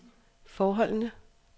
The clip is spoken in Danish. forholdene